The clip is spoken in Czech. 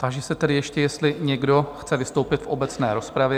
Táži se tedy ještě, jestli někdo chce vystoupit v obecné rozpravě?